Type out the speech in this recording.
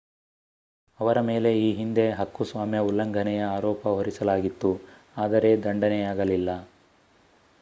ಅವರ ಮೇಲೆ ಈ ಹಿಂದೆ ಹಕ್ಕುಸ್ವಾಮ್ಯ ಉಲ್ಲಂಘನೆಯ ಆರೋಪ ಹೊರಿಸಲಾಗಿತ್ತು ಆದರೆ ದಂಡನೆಯಾಗಲಿಲ್ಲ